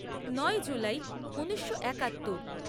নয় জুলাই ঊনিশো একাত্তর